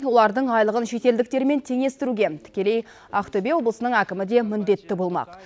олардың айлығын шетелдіктермен теңестіруге тікелей ақтөбе облысының әкімі де міндетті болмақ